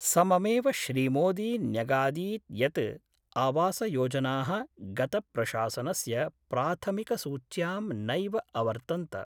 सममेव श्रीमोदी न्यगादीत् यत् आवासयोजनाः गतप्रशासनस्य प्राथमिकसूच्यां नैव अवर्तन्त।